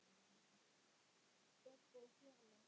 Dögg og Fjalar.